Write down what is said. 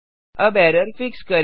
अब error fix करें